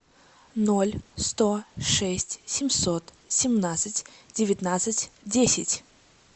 ноль сто шесть семьсот семнадцать девятнадцать десять